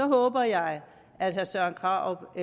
håber jeg at herre søren krarup